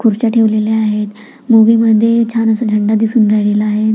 खुर्च्या ठेवलेल्या आहेत मूवी मध्ये छान असा झेंडा दिसून राहिलेला आहे.